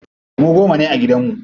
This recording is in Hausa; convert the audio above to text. Mu goma ne a gidan mu.